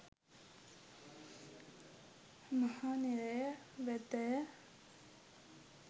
මහ නිරය වෙතය.